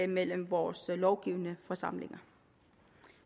mellem vores lovgivende forsamlinger